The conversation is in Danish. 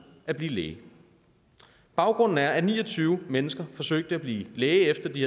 at blive læge baggrunden er at ni og tyve mennesker forsøgte at blive læge efter at de